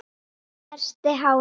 Snerti hárin.